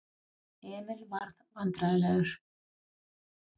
Emil varð vandræðalegur.